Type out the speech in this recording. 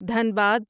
Dhanbad